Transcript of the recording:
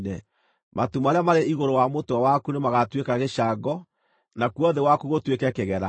Matu marĩa marĩ igũrũ wa mũtwe waku nĩmagatuĩka gĩcango, nakuo thĩ waku gũtuĩke kĩgera.